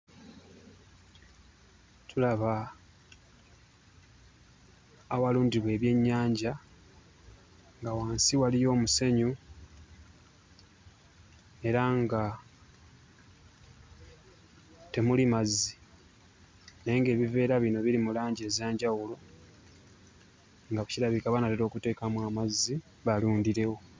Tulaba awalundibwa ebyennyanja nga wansi waliyo omusenyu era nga temuli mazzi naye ng'ebiveera bino biri mu langi ez'enjawulo nga ku kirabika banaatera okuteekamu amazzi balundirewo.